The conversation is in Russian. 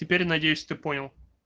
теперь надеюсь ты понял